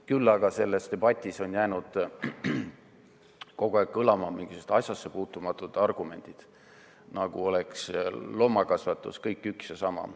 Küll aga on selles debatis jäänud kogu aeg kõlama mingisugused asjasse puutumatud argumendid, nagu oleks loomakasvatus kõik üks ja sama.